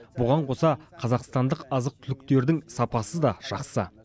бұған қоса қазақстандық азық түліктердің сапасы да жақсы